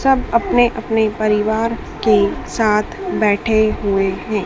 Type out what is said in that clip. सब अपने अपने परिवार के साथ बैठे हुए हैं।